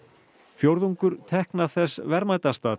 fjórðungur tekna þess verðmætasta